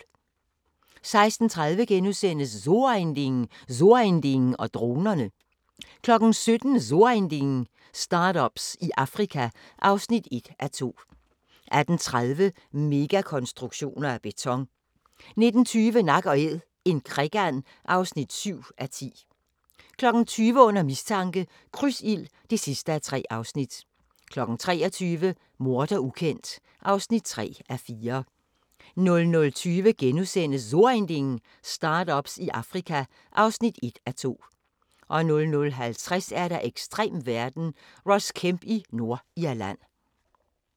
16:30: So Ein Ding: So ein Ding og dronerne * 17:00: So Ein Ding: Start-ups i Afrika (1:2) 18:30: Megakonstruktioner af beton 19:20: Nak & Æd – en krikand (7:10) 20:00: Under mistanke – Krydsild (3:3) 23:00: Morder ukendt (3:4) 00:20: So Ein Ding: Start-ups i Afrika (1:2)* 00:50: Ekstrem verden – Ross Kemp i Nordirland